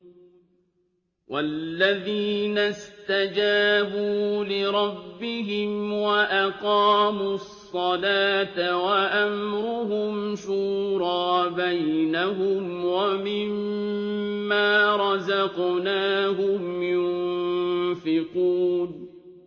وَالَّذِينَ اسْتَجَابُوا لِرَبِّهِمْ وَأَقَامُوا الصَّلَاةَ وَأَمْرُهُمْ شُورَىٰ بَيْنَهُمْ وَمِمَّا رَزَقْنَاهُمْ يُنفِقُونَ